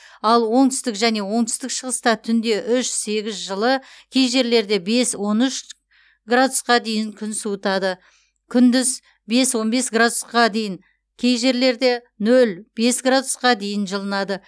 ал оңтүстік және оңтүстік шығыста түнде үш сегіз жылы кей жерлерде бес он үш градусқа дейін күн суытады күндіз бес он бес градусқа дейін кей жерлерде нөл бес градусқа дейін жылынады